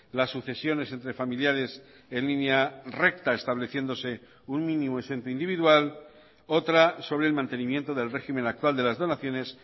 las sucesiones entre familiares en línea recta estableciéndose un mínimo exento individual otra sobre el mantenimiento del régimen actual de las donaciones